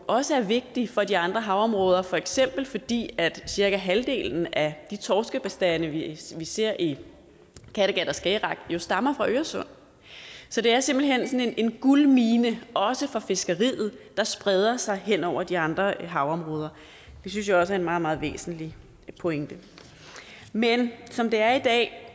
også er vigtig for de andre havområder for eksempel fordi cirka halvdelen af de torskebestande vi ser i kattegat og skagerrak jo stammer fra øresund så det er simpelt hen sådan en guldmine også for fiskeriet der spreder sig hen over de andre havområder det synes jeg også er en meget meget væsentlig pointe men som det er i dag